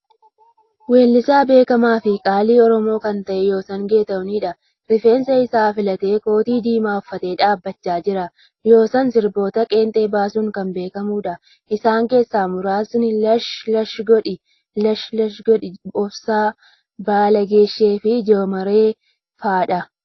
Weellisaa beekamaa fi qaalii Oromoo kan ta'a Yoosan Geetaahuunidha. Rifeensa isaa filatee kootii diimaa uffatee dhaabachaa jira. Yoosan sirboota qeenxee baasuun kan beekamuudha. Isaan keessaa muraasni lash godhi, 3 obsaa, Baala gizee fi jomoree fa'adha.